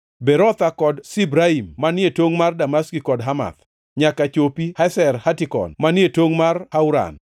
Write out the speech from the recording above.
Berotha kod Sibraim (manie tongʼ mar Damaski kod Hamath), nyaka ochopi Hazer Hatikon, manie tongʼ mar Hauran.